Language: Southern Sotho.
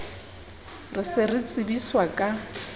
re se re tsebiswa ka